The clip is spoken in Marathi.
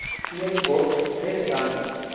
स्नेक बोट रेस सांग